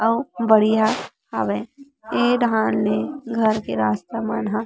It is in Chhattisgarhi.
अउ बढ़िया हावय ए डाहन ले घर के रास्ता मन ह --